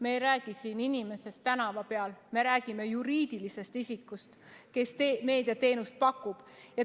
Me ei räägi siin inimestest tänava peal, me räägime juriidilisest isikust, kes meediateenust pakub.